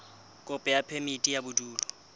kopo ya phemiti ya bodulo